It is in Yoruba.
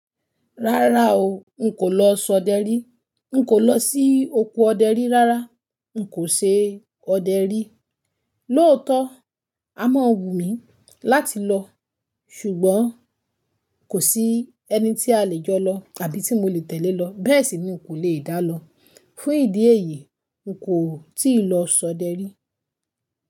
Rárá o, n kò lọ ṣodẹ rí. N kò lọ sí oko ọdẹrí rárá. N kò ṣe ọdẹrí. Lóòótọ́, a mọ wù mí láti lọ, ṣùgbọ́n kò sí ẹni tí a lè jọ lọ àbí tí mo lè tẹ̀lé lọ. Bẹ́ẹ̀ sì ni n kò lè dá lọ. Fún ìdí èyí, n kò tíì lọ ṣodẹrí.